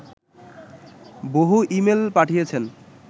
বহু ইমেইল পাঠিয়েছেন